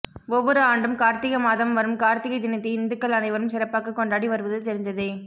ஒவ்வொரு ஆண்டும் கார்த்திகை மாதம் வரும் கார்த்திகை தினத்தை இந்துக்கள் அனைவரும் சிறப்பாக கொண்டாடி வருவது தெரிந்ததே